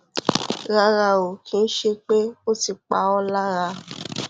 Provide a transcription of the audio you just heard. rárá o kì í ṣe pé ó ti pa ọ lára